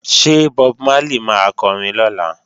Ṣé Bob Marley máa kọrin lọ́la?